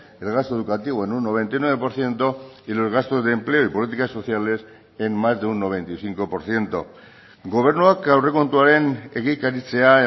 el gasto educativo en un noventa y nueve por ciento y los gastos de empleo y políticas sociales en más de un noventa y cinco por ciento gobernuak aurrekontuaren egikaritzea